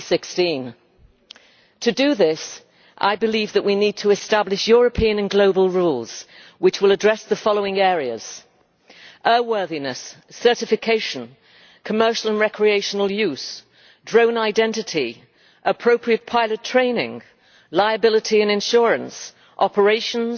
2016. To do this, I believe that we need to establish European and global rules which will address the following areas air worthiness, certification, commercial and recreational use, drone identity, appropriate pilot training, liability and insurance, operations,